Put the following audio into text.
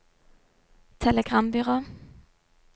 telegrambyrå